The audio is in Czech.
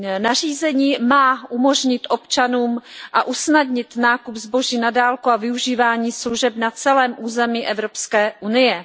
Nařízení má umožnit a usnadnit občanům nákup zboží na dálku a využívání služeb na celém území Evropské unie.